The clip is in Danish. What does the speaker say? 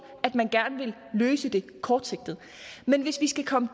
at man gerne vil løse det kortsigtet men hvis vi skal komme